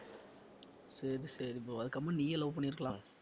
சரி சரி bro அதுக்கு கம்முனு நீயே love பண்ணியிருக்கலாம்